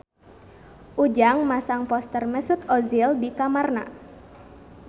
Ujang masang poster Mesut Ozil di kamarna